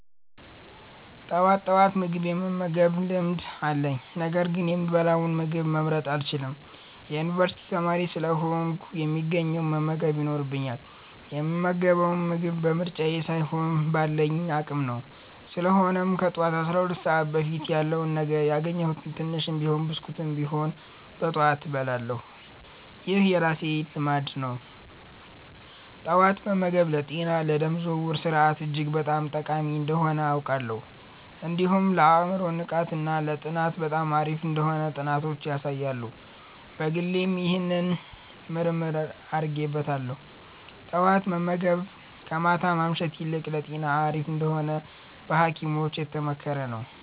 ጠዋት ጠዋት ምግብ የመመገብ ልማድ አለኝ፤ ነገር ግን የምበላውን ምግብ መምረጥ አልችልም። የዩኒቨርሲቲ ተማሪ ስለሆንኩ፣ የሚገኘውን መመገብ ይኖርብኛል፣ የምመገበው ምግብ በምርጫዬ ሳይሆን ባለኝ አቅም ነው። ስለሆነም ከጠዋቱ 12 ሰዓት በፊት ያለውን ነገር፣ ያገኘሁትን ትንሽም ብስኩት ቢሆንም በጠዋት እበላለሁ። ይህ የራሴ ልማድ ነው። ጠዋት መመገብ ለጤና፣ ለደም ዝውውር ስርዓት እጅግ በጣም ጠቃሚ እንደሆነ አውቃለሁ። እንዲሁም ለአእምሮ ንቃት እና ለጥናት በጣም አሪፍ እንደሆነ ጥናቶች ያሳያሉ። በግሌም ይህንን ምርምር አድርጌበታለሁ። ጠዋት መመገብ ከማታ ማምሸት ይልቅ ለጤና አሪፍ እንደሆነ በሀኪሞችም የተመከረ ነው።